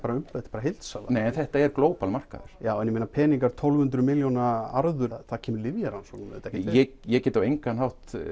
bara heildsala en þetta er Global markaður já en tólf hundruð milljón króna arður hér kemur lyfjarannsóknum ekkert við ég get á engan hátt